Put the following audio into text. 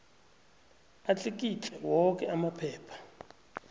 atlikitle woke amaphepha